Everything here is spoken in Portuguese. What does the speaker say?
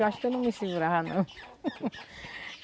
Eu acho que eu não me segurava não.